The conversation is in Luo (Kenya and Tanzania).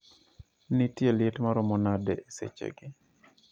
Nitie liet maromo nade esechegi